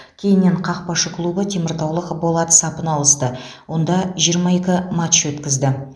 кейіннен қақпашы клубы теміртаулық болат сапына ауысты онда жиырма екі матч өткізді